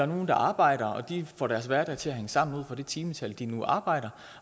nogle der arbejder og får deres hverdag til at hænge sammen ud fra det timetal de nu arbejder